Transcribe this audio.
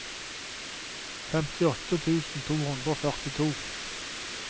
femtiåtte tusen to hundre og førtito